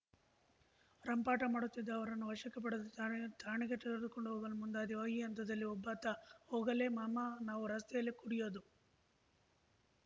ರಂಪಾಟ ಮಾಡುತ್ತಿದ್ದ ಅವರನ್ನು ವಶಕ್ಕೆ ಪಡೆದು ಥಾಣೆ ಠಾಣೆಗೆ ತೆರೆದುಕೊಂಡು ಹೋಗಲು ಮುಂದಾದೆವು ಈ ಹಂತದಲ್ಲಿ ಒಬ್ಬಾತ ಹೋಗಲೇ ಮಾಮಾ ನಾವು ರಸ್ತೆಯಲ್ಲೇ ಕುಡಿಯೋದು